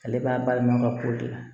Ale b'a bayɛlɛma ka k'o de la